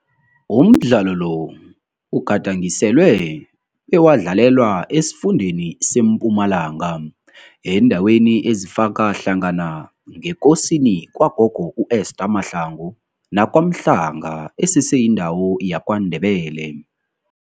Umdlalo lo ugadangiselwe bewadlalelwa esifundeni seMpumalanga, eendaweni ezifaka hlangana ngeKosini kwagogo u-Esther Mahlangu, naKwaMhlanga esese yindawo yaKwaNdebele.